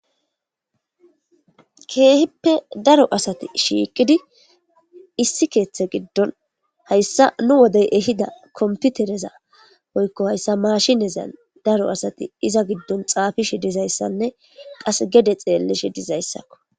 Kehippe daro assathi shiqidi issi keththe gidon hayssa nu wode ehida kompitherezza woykko hayssa mashinezan daro assathi izza gidon xapishe dizayssanne qasse gede xelishe dizzayssakko.